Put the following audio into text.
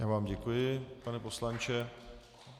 Já vám děkuji, pane poslanče.